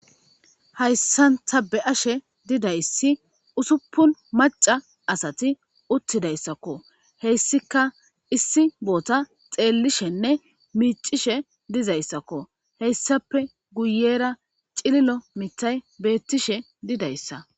Haysan ta be'ashe didaysi usupun mac'a asati utidaysakko heysika issi bothan xelishenne mic'ishe dizaysako heysape guyera c'lilo matay betishe didaysa.